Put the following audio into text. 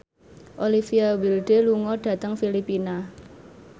Olivia Wilde lunga dhateng Filipina